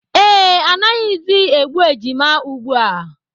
Ee, anaghịzi egbu ejima ugbu a